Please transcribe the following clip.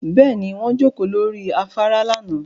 Bẹ́ẹ̀ni, wọ́n jókòó lórí afárá lánàá